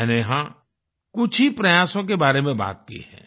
मैंने यहाँ कुछ ही प्रयासों के बारे में बात की है